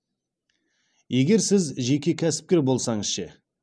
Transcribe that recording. егер сіз жеке кәсіпкер болсаңыз ше